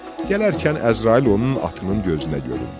Gələrkən Əzrail onun atının gözünə göründü.